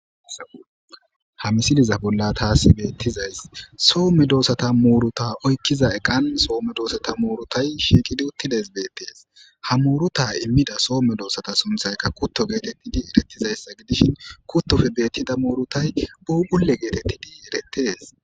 Ha misiliza bolla taasi beettizays soomme doossata muuruta oykkiza eqan soomme doosata muurutay shiiqidi uttides beettees ha muuruta immida soome doossata sunthaykka kutto geetettidi erettizayssa gidishin kuttofe beettida muurutay buugule geetettidi erettes.